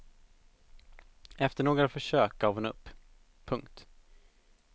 Efter några försök gav hon upp. punkt